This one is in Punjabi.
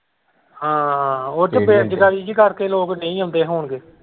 ਹਾਂ ਉੱਧਰ ਬੇਰੁਜਗਾਰੀ ਜਿਹੀ ਕਰਕੇ ਲੋਕ ਨਹੀਂ ਆਉਂਦੇ ਹੋਣਗੇ।